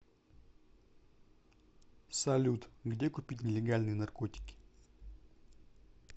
салют где купить нелегальные наркотики